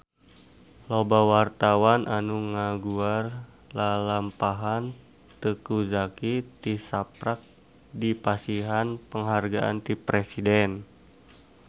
Loba wartawan anu ngaguar lalampahan Teuku Zacky tisaprak dipasihan panghargaan ti Presiden